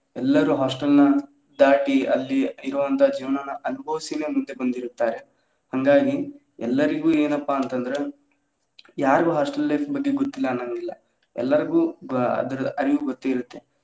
ಎಲ್ಲರು hostel ನ ದಾಟಿ ಅಲ್ಲಿ ಇರುವಂತ ಜೀವನಾನ ಅನಬವಿಸಿ ಮುಂದೆ ಬಂದಿರುತ್ತಾರೆ ಹಂಗಾಗಿ ಎಲ್ಲರಿಗೂ ಏನಪ್ಪಾ ಅಂತ ಅಂದ್ರ ಯಾರ್ಗು hostel life ಬಗ್ಗೆ ಗೊತ್ತ್ಿಲ್ಲ ಅನ್ನೊವಂಗಿಲ್ಲಾ ಎಲ್ಲಾರ್ಗು ಅದರ ಅರಿವ ಗೊತ್ತ್ಿರುತ್ತೆ.